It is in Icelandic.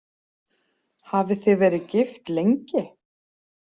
Hafið þið verið gift lengi?